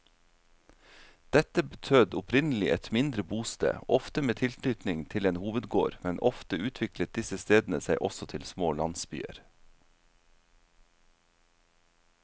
Dette betød opprinnelig et mindre bosted, ofte med tilknytning til en hovedgård, men ofte utviklet disse stedene seg også til små landsbyer.